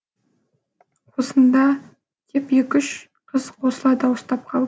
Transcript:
осында а а деп екі үш қыз қосыла дауыстап қалды